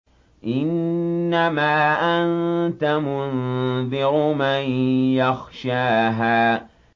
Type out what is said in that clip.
إِنَّمَا أَنتَ مُنذِرُ مَن يَخْشَاهَا